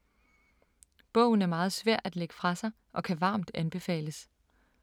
Bogen er meget svær at lægge fra sig og kan varmt anbefales.